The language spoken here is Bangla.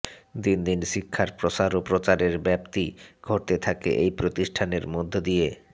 দিন দিন শিক্ষার প্রসার ও প্রচারের ব্যপ্তি ঘটতে থাকে এই প্রতিষ্ঠানের মধ্য দিয়ে